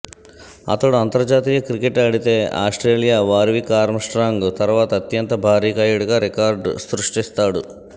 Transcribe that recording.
అతడు అంతర్జాతీయ క్రికెట్ ఆడితే ఆస్ట్రేలియా వార్విక్ ఆర్మ్స్ట్రాంగ్ తర్వాత అత్యంత భారీకాయుడిగా రికార్డు సృష్టిస్తాడు